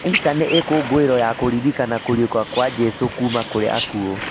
Ista nĩ ikũngũĩro ya kũririkana kũriũka kwa Jesũ kuma kwĩ akuo.